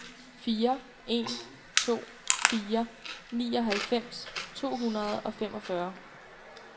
fire en to fire nioghalvfems to hundrede og femogfyrre